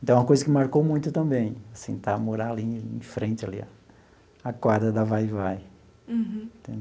Então, é uma coisa que marcou muito também assim, estar morar ali em frente ali, a a quadra da Vai-Vai.